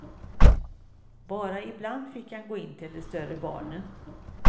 Bara ibland fick han gå in till de större barnen.